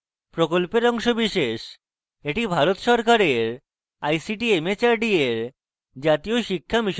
এটি ভারত সরকারের ict mhrd এর জাতীয় শিক্ষা mission দ্বারা সমর্থিত